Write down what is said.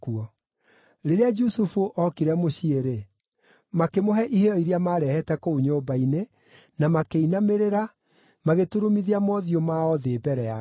Rĩrĩa Jusufu ookire mũciĩ-rĩ, makĩmũhe iheo iria maarehete kũu nyũmba-inĩ, na makĩinamĩrĩra, magĩturumithia mothiũ mao thĩ mbere yake.